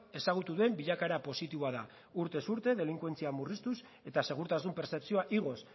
ezagutu den bilakaera positiboa da urtez urte delinkuentzia murriztuz eta segurtasun pertzepzioa igoz